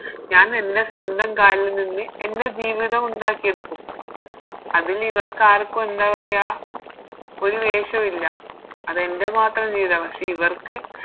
ഞാനെൻറെ സ്വന്തം കാലില് നിന്ന് എൻറെ ജീവിതം ഉണ്ടാക്കിയെടുക്കും അതിനിവർക്കാർക്കും എന്താ പറയാ ഒരു വേഷോ ഇല്ല അതെൻറെ മാത്രം ജീവിത പക്ഷെ ഇവർക്ക്